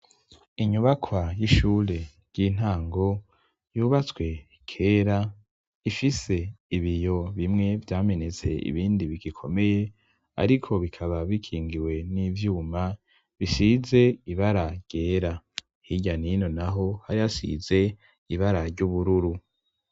Inyubakwa y'ishure ry'intango yubatswe kera ifise ibiyo bimwe vyamenetse ibindi bigikomeye ariko bikaba bikingiwe n'ivyuma bisize ibara ryera. hirya nino naho hari asize ibara ry'ubururu.